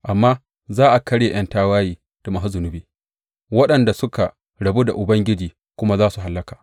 Amma za a karye ’yan tawaye da masu zunubi, waɗanda suka rabu da Ubangiji kuma za su hallaka.